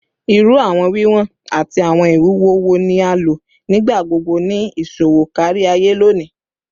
Iru awọn wiwọn ati awọn iwuwo wo ni a lo nigbagbogbo ni iṣowo kariaye loni?